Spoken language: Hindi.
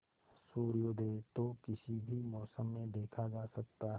सूर्योदय तो किसी भी मौसम में देखा जा सकता है